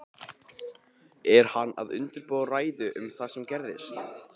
Er hann að undirbúa ræðu um það sem gerðist?